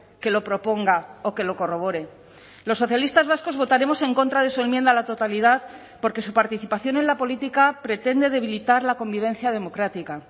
que lo proponga o que lo corrobore los socialistas vascos votaremos en contra de su enmienda a la totalidad porque su participación en la política pretende debilitar la convivencia democrática